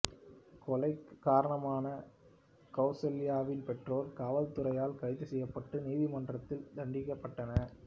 கொலைக்குக் காரணமான கவுசல்யாவின் பெற்றோர் காவல்துறையால் கைது செய்யப்பட்டு நீதிமன்றத்தால் தண்டிக்கப்பட்டனர்